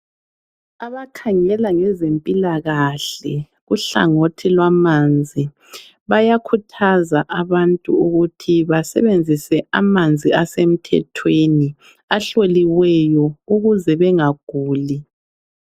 Abakhangela ngezempilakahle kuhlangothi lwamanzi bayakhuthaza abantu ukuthi basebenzise amanzi asemthethweni ahloliweyo ukuze bengaguli.